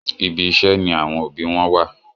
Ibi iṣé ní àwọn òbí wón wá.